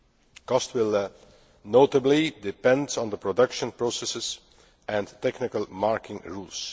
The cost will notably depend on the production processes and technical marking rules.